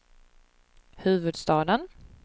huvudstaden